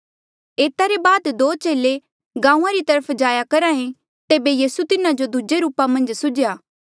एता ले बाद दो चेले गांऊँआं री तरफ जाया करहा ऐें तेबे यीसू तिन्हा जो दूजे रूपा मन्झ सुझ्या